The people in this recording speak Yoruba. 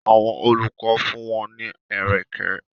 Àwọn olùkọ́ fún wọn ní ẹ̀rẹ̀kẹ́.